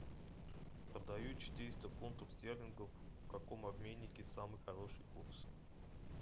продаю четыреста фунтов стерлингов в каком обменнике самый хороший курс